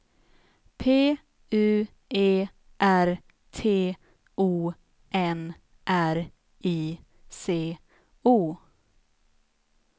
P U E R T O N R I C O